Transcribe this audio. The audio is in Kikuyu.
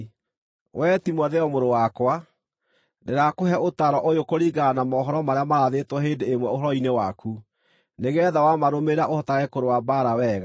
Wee Timotheo, mũrũ wakwa, ndĩrakũhe ũtaaro ũyũ kũringana na mohoro marĩa maarathĩtwo hĩndĩ ĩmwe ũhoro-inĩ waku, nĩgeetha wamarũmĩrĩra ũhotage kũrũa mbaara wega,